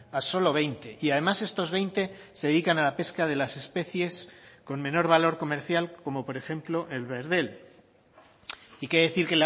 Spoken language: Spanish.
a solo veinte y además estos veinte se dedican a la pesca de las especies con menor valor comercial como por ejemplo el verdel y qué decir